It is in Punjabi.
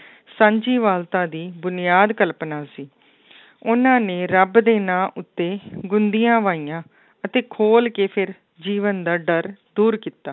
ਸਾਂਝੀਵਾਲਤਾ ਦੀ ਬੁਨਿਆਦ ਕਲਪਨਾ ਸੀ ਉਹਨਾਂ ਨੇ ਰੱਬ ਦੇ ਨਾਂ ਉੱਤੇ ਗੁੰਦੀਆਂ ਵਾਹੀਆਂ ਅਤੇ ਖੋਲ ਕੇ ਫਿਰ ਜੀਵਨ ਦਾ ਡਰ ਦੂਰ ਕੀਤਾ